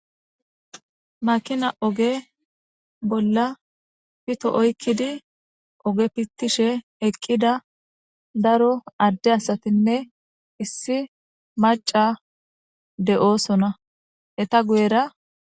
makina oge bolla pito oykkidi oge pittishe eqqida daro adde asatinne issi maca de7oosona heta guyera